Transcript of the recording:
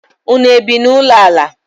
Ụnụ ebi na ụlọ ala?